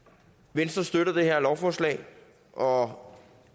venstre støtter det her lovforslag og